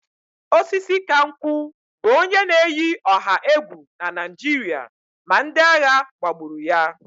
Osisikankwu bụ onye na-eyi ọha egwu na Naịjirịa ma ndị agha gbagburu ya